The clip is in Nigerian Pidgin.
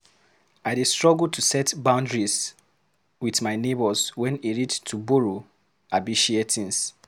I dey struggle to set boundaries with my neighbors wen e reach to borrow abi share things.